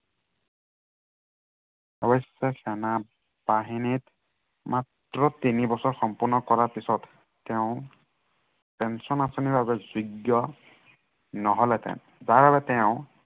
অৱশ্য়ে সেনাবাহিনীত, মাত্ৰ তিনি বছৰ সম্পন্ন কৰাৰ পাছত তেওঁ পেঞ্চন আঁচনিৰ বাবে যোগ্য় নহলহেঁতেন। যাৰ বাবে তেওঁ